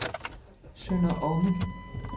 Sønder Omme